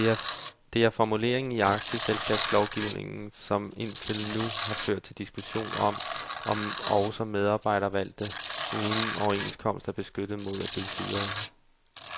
Det er formuleringen i aktieselskabslovgivningen, som indtil nu har ført til diskussion om, om også medarbejdervalgte uden overenskomst er beskyttet mod at blive fyret.